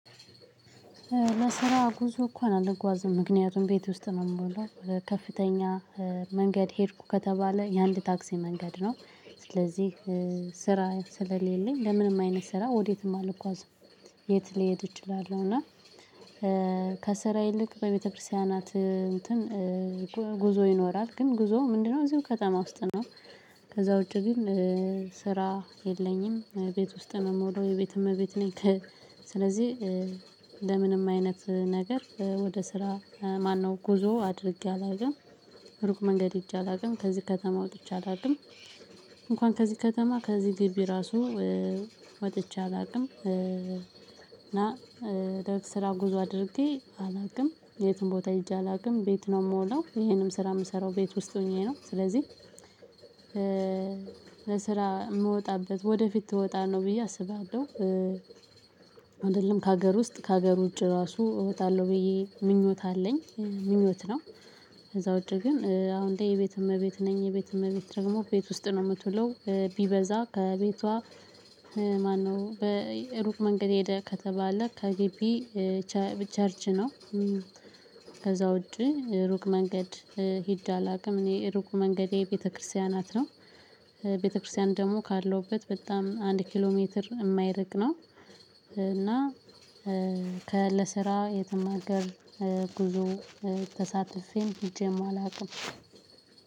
ለስራ ጉዞ እንኳን አልጓዝም ምክንያቱም ቤት ውስጥ ነው የምውለላው ከፍተኛ መንገድ ሄድኩ ከተባለ የአንድ ታክሲ መንገድ ነው። ስለዚህ ስራ ስለሌለኝ ለምንም አይነት ስራ ወዴትም አልጓዝም። የት ልሄድ እችላለሁ? እና ከስራ ይልቅ በቤተክርስቲያናት እንትን ጉዞ ይኖራል ግን ጉዞ ምንድነው እዚሁ ከተማ ውስጥ ነው። ከዛ ውጪ ግን ስራ የለኝም ቤት ውስጥ ነው የምውለው የቤት እመቤት ነኝ። ስለዚህ ለምንም አይነት ነገር ወደ ስራ ማነው ጉዞ አድርጌ አላውቅም። ሩቅ መንገድ ሄጄ አላውቅም ከዚህ ከተማ ወጥቼ አላውቅም። እንኳን ከዚህ ከተማ ከዚህ ግቢ ራሱ ወጥቼ አላውቅም። እና ለውጭ ስራ ጉዞ አድርጌ አላውቅም የትም ቦታ ሄጄ አላውቅም። ቤት ነው የምውለው ይሄንም ስራ የምሰራው ቤት ውስጥ ሆኜ ነው። ስለዚህ ለስራ የምወጣበት ወደፊት እወጣለሁ ብዬ አስባለሁ። አይደለም ከሀገር ውስጥ ከሀገር ውጪ ራሱ እወጣለሁ ብዬ ምኞት አለኝ። ምኞት ነው። ከዛ ውጪ ግን አሁን ላይ የቤት እመቤት ነኝ የቤት እመቤት ደግሞ ቤት ውስጥ ነው የምትውለው። ቢበዛ ከቤቷ ማነው በሩቅ መንገድ ሄደህ ከተባለ ከግቢ ቸርች ነው። ከዛ ውጪ ሩቅ መንገድ ሂጄ አላውቅም እኔ ሩቅ መንገዴ ቤተክርስቲያናት ነው። ቤተክርስቲያን ደግሞ ካለውበት በጣም አንድ ኪሎ ሜትር የማይርቅ ነው። እና ከለስራ የተም አገር ጉዞ ተሳትፌም ሄጄም አላውቅም።